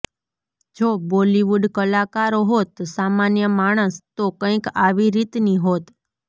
જો બોલીવુડ કલાકારો હોત સામાન્ય માણસ તો કંઈક આવી રીતની હોત